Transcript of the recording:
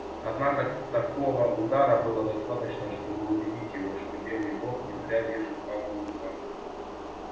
одного такого удара было достаточно чтобы убедить его что белый бог не зря держит палку в руках